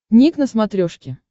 ник на смотрешке